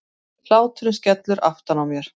Hláturinn skellur aftan á mér.